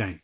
اس میں ،